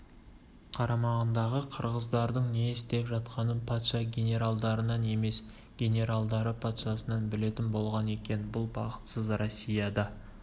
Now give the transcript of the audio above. қарамағындағы қырғыздардың не істеп жатқанын патша генералдарынан емес генералдары патшасынан білетін болған екен бұл бақытсыз россияда